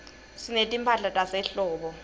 sinetimphahla tasehlobo